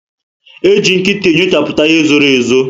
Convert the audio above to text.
Eji nkịta enyochaputa ihe zoro ezo